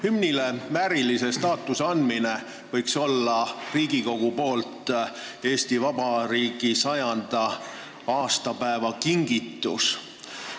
Hümnile väärilise staatuse andmine võiks olla Riigikogu kingitus Eesti Vabariigi 100. aastapäevaks.